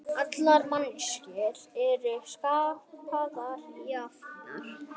Allar manneskjur eru skapaðar jafnar